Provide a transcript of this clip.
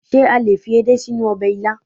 Ṣé a lè fi edé sínú ọbẹ̀ ilá?